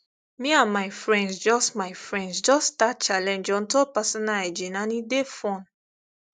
me and my friends just my friends just start challenge on top personal hygiene and e dey fun